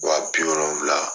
Wa bi wolonwula.